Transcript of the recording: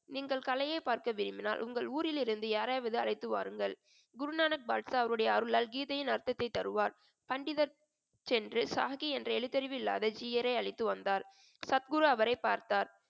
நீங்கள் கலையை பார்க்க விரும்பினால் உங்கள் ஊரிலிருந்து யாரையாவது அழைத்து வாருங்கள் குருநானக் பாட்ஷா அவருடைய அருளால் கீதையின் அர்த்தத்தை தருவார் பண்டிதர் சென்று சாஹி என்ற எழுத்தறிவில்லாத ஜீயரை அழைத்து வந்தார் சத்குரு அவரை பார்த்தார்